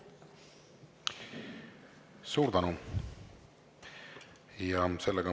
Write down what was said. Suur tänu!